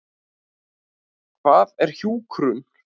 Hvað er hjúkrun?